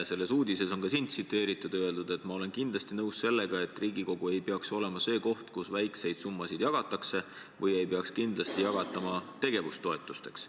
Selles uudises on ka sind tsiteeritud: "Ma olen kindlasti nõus sellega, et riigikogu ei peaks olema see koht, kus väikseid summasid jagatakse või ei peaks kindlasti jagatama tegevustoetusteks.